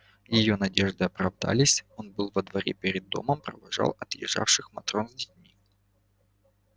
её надежды оправдались он был во дворе перед домом провожал отъезжавших матрон с детьми